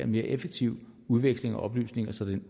mere effektiv udveksling af oplysninger så